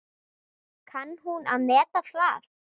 Kann hún að meta það?